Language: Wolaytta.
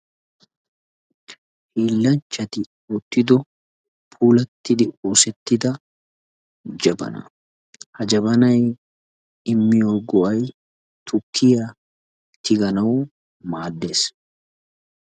hiillanchchatti mel"iddo puulattidi oosettida jabaanaa. ha jabannay immiyoo go'ay tukkiyaa tiganawu maaddees.